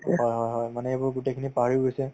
হয় হয় হয় মানে এইবোৰ গোটেইখিনি পাহৰি গৈছে